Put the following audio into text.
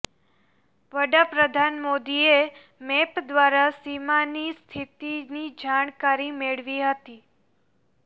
વડાપ્રધાન મોદીએ મેપ દ્વારા સીમાની સ્થિતિની જાણકારી મેળવી હતી